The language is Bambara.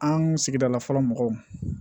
An sigidala fɔlɔ mɔgɔw